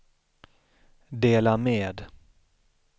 dela med